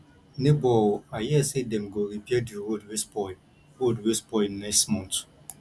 nebor o i hear sey dem go repair di road wey spoil road wey spoil next month